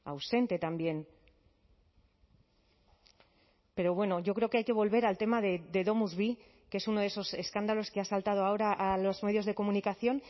ausente también pero bueno yo creo que hay que volver al tema de domusvi que es uno de esos escándalos que ha saltado ahora a los medios de comunicación